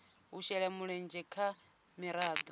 u shela mulenzhe ha miraḓo